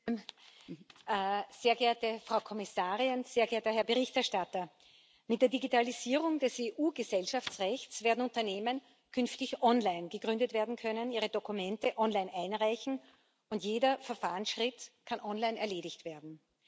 Frau Präsidentin, sehr geehrte Frau Kommissarin, sehr geehrter Herr Berichterstatter! Mit der Digitalisierung des EU Gesellschaftsrechts werden Unternehmen künftig online gegründet werden können, ihre Dokumente online einreichen und jeder Verfahrensschritt kann online erledigt werden.